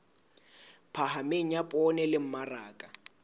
phahameng ya poone le mmaraka